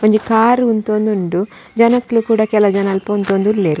ಒಂಜಿ ಕಾರ್ ಉಂತೊಂದುಂಡು ಜನೊಕುಲ್ ಪೂರ ಕೆಲಜನ ಅಲ್ಪ ಉಂತೊಂದುಲ್ಲೆರ್.